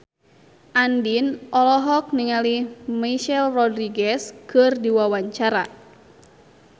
Andien olohok ningali Michelle Rodriguez keur diwawancara